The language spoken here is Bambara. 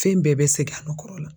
Fɛn bɛɛ bɛ segin a nɔ kɔrɔ la.